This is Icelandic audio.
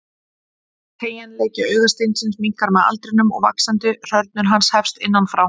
Teygjanleiki augasteinsins minnkar með aldrinum og vaxandi hrörnun hans hefst innan frá.